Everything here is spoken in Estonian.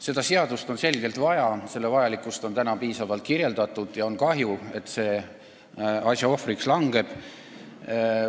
Seda seadust on selgelt vaja, selle vajalikkust on täna piisavalt kirjeldatud, ja on kahju, et see asja ohvriks langeb.